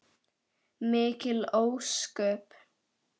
Mikil ósköp.